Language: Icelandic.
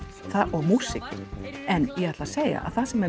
og músíkin en ég ætla að segja að það sem er